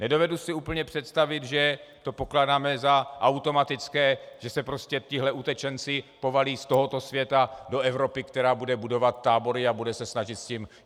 Nedovedu si úplně představit, že to pokládáme za automatické, že se prostě tihle utečenci povalí z tohoto světa do Evropy, která bude budovat tábory a bude se snažit s tím...